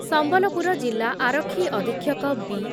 ସମ୍ବଲପୁର ଜିଲ୍ଲା ଆରକ୍ଷୀ ଅଧକ୍ଷକ ବି